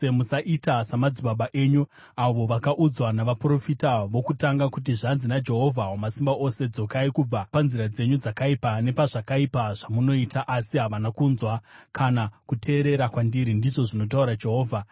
Musaita samadzibaba enyu, avo vakaudzwa navaprofita vokutanga kuti: Zvanzi naJehovha Wamasimba Ose, ‘Dzokai kubva panzira dzenyu dzakaipa nepazvakaipa zvamunoita.’ Asi havana kunzwa kana kuteerera kwandiri, ndizvo zvinotaura Jehovha.